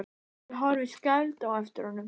Ég horfi skelfd á eftir honum.